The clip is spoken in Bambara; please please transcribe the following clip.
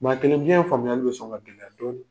Maa kelen faamuyali bɛ sɔn ka gɛlya dɔɔnin.